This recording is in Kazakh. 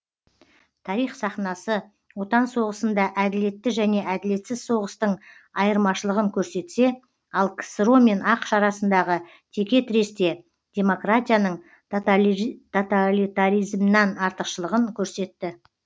тарих сахнасы отан соғысында әділетті және әділетсіз соғыстың айырмашылығын көрсетсе ал ксро мен ақш арасындағы текетіресте демократияның тоталитаризмнан артықшылығын көрсетті